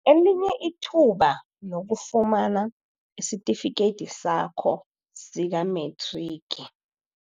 Elinye Ithuba Lokufumana Isitifikedi Sakho Sikamethrigi